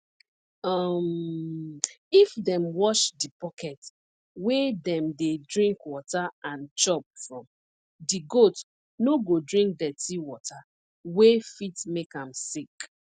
um if dem wash di bucket wey dem dey drink water and chop from di goat no go drink dirty water wey fit make am sick